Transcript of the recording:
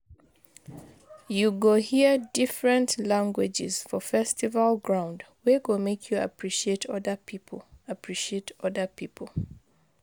You go hear different languages for festival ground wey go make you appreciate oda pipo appreciate oda pipo